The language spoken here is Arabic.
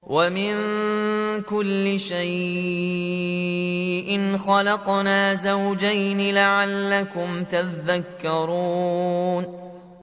وَمِن كُلِّ شَيْءٍ خَلَقْنَا زَوْجَيْنِ لَعَلَّكُمْ تَذَكَّرُونَ